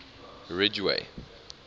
ridgeway